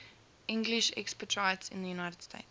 english expatriates in the united states